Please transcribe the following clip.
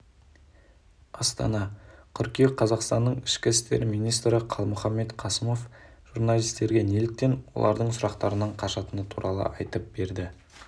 астана қыркүйек қазақстанның ішкі істер министрі қалмұханбет қасымов журналистерге неліктен олардың сұрақтарынан қашатыны туралы айтып берді